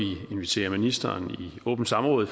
invitere ministeren i åbent samråd